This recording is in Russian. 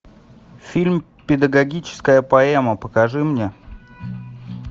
фильм педагогическая поэма покажи мне